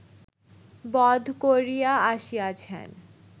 বধ করিয়া আসিয়াছেন